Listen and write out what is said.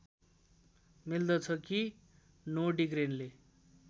मिल्दछ कि नोर्डिग्रेनले